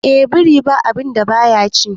eh biri ba a binda baya ci